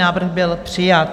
Návrh byl přijat.